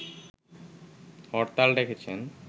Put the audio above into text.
হরতাল ডেকেছেন